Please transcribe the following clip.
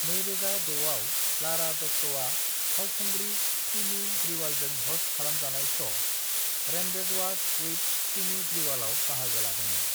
2006आव लारा दत्ताआ फावखुंग्रि सिमी ग्रिवालजों ह'स्ट खालामजानाय श' 'रेंडेजवास विथ सिमी ग्रिवाल'आव बाहागो लादोंमोन।